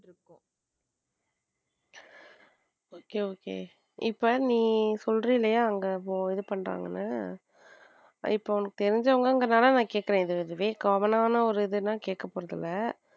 Okay okay இப்போ நீ சொல்ற இல்லையா அங்க இது பண்றாங்கன்ன இப்ப உனக்கு தெரிஞ்சவங்க அதனால கேட்கிறேன் இதுவே common ஒரு இது நான் கேட்க போறது இல்ல.